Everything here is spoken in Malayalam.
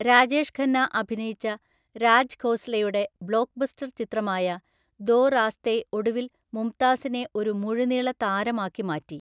രാജേഷ് ഖന്ന അഭിനയിച്ച രാജ് ഖോസ്ലയുടെ ബ്ലോക്ക്ബസ്റ്റർ ചിത്രമായ ദോ റാസ്തേ ഒടുവിൽ മുംതാസിനെ ഒരു മുഴുനീള താരമാക്കി മാറ്റി.